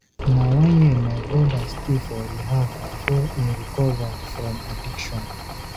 Na one year my broda stay for rehab before im recover from addiction.